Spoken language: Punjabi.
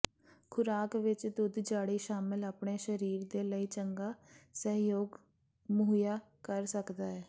ਖੁਰਾਕ ਵਿੱਚ ਦੁੱਧ ਝਾੜੀ ਸ਼ਾਮਿਲ ਆਪਣੇ ਸਰੀਰ ਦੇ ਲਈ ਚੰਗਾ ਸਹਿਯੋਗ ਮੁਹੱਈਆ ਕਰ ਸਕਦਾ ਹੈ